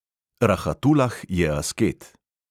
Rahatulah je asket.